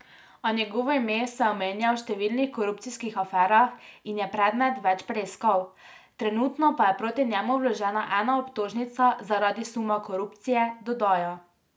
A njegovo ime se omenja v številnih korupcijskih aferah in je predmet več preiskav, trenutno pa je proti njemu vložena ena obtožnica zaradi suma korupcije, dodaja.